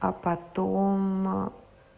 а потом